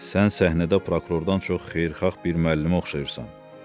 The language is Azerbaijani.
Sən səhnədə prokurordan çox xeyirxah bir müəllimə oxşayırsan.